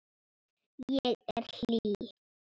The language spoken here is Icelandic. Ég er hlý.